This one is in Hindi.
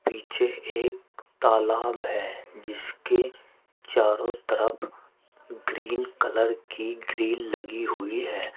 पीछे एक तालाब है जिसके चारों तरफ ग्रीन कलर की ग्रील लगी हुई है।